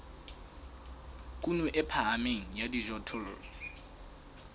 kuno e phahameng ya dijothollo